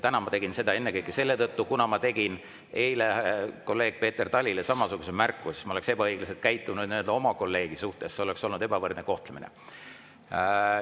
Täna ma tegin seda ennekõike selle tõttu, et kuna ma tegin eile kolleeg Peeter Talile samasuguse märkuse, siis ma oleksin käitunud muidu oma kolleegi suhtes ebaõiglaselt, see oleks olnud ebavõrdne kohtlemine.